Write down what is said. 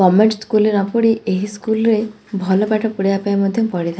ଗମେଣ୍ଟ school ରେ ନ ପଢି ଏହି ସ୍କୁଲ ରେ ଭଲ ପାଠ ପଢିବା ପାଇଁ ମଧ୍ୟ ପଡିଥାଏ ।